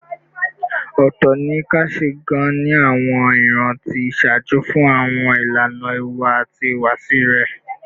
Ootọ ni a kasi gaan ni awọn iran ti iṣaaju fun awọn ilana iwa ati ihuwasi rẹ